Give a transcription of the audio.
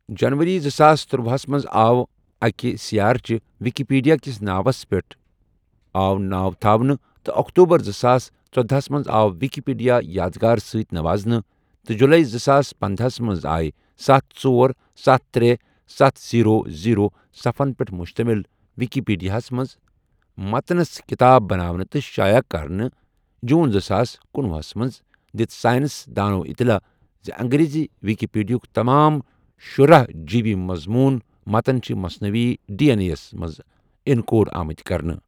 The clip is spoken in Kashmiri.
جَنؤری زٕساس تٔرۄوَہس مَنٛز آو اکہٕ سیارچہ وکیپیڈیا کس ناوس پؠٹھ آو ناو تھاونہٕ تہٕ اکتوبر زٕساس ژۄدہَ ہس مَنٛز آو وکیپیڈیا یادگار سۭتۍ نوازنہٕ تہٕ جُلے زٕساس پندہَ ہس مَنٛز آے ستھَ، ژور، ستھ، ترے، ستھَ، زیرۄ، زیرۄ صَفن پؠٹھ مُشتَمِل وِکیٖپیٖڈیاہَس مَنٛز مَتَنس کِتاب بَناونہٕ تہٕ شایَع کَرنہٕ جون زٕساس کنُۄہُ مَنٛز دِژ ساینس دانو اطلاع ز انگریزی وکیپیڈیاہٕک تمام شُرہَ جی بی مَضموٗن متن چھ مصنوعی ڈی این اے یَس مَنٛز انکوڈ آمت کرنہٕ۔